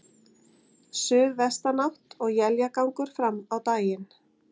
Suðvestanátt og éljagangur fram á daginn